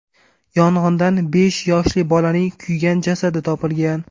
Yong‘indan besh yoshli bolaning kuygan jasadi topilgan.